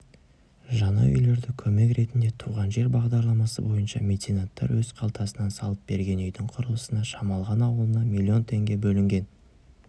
жаңа үйлерді көмек ретінде туған жер бағдарламасы бойынша меценаттар өз қалтасынан салып берген үйдің құрылысына шамалған ауылына миллион теңге бөлінген